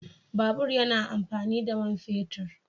Babur yana amfani da man fetur